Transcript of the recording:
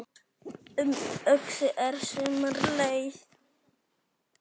Um Öxi er sumarleið